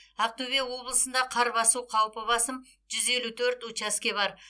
ақтөбе облысында қар басу қаупі басым жүз елу төрт учаске бар